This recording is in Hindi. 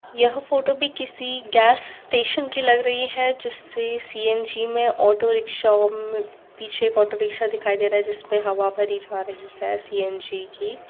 यह फोटो भी किसी गैस स्टेशन की लग रही है जिसे सी_एन_जी में ऑटो रिक्शा में पीछे ऑटो रिक्शा दिखाई दे रहा है जिस पे हवा भरी जा रही है सी_एन_जी की --